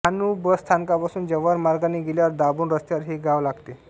Dahanu bus स्थानकापासून जव्हार मार्गाने गेल्यावर दाभोण रस्त्यावर हे गाव लागते